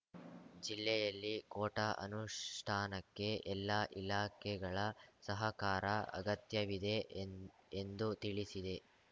ಜಿಲ್ಲೆಯಲ್ಲಿ ಕೋಟಾ ಅನುಷ್ಠಾನಕ್ಕೆ ಎಲ್ಲಾ ಇಲಾಖೆಗಳ ಸಹಕಾರ ಅಗತ್ಯವಿದೆ ಎನ್ ಎಂದು ತಿಳಿಸಿದೆ